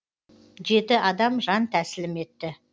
жеті адам жан тәсілім етті